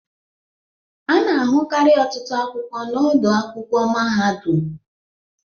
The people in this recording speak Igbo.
Ana ahụkari ọtụtụ akwụkwọ na ọdọ akwụkwọ mahadum.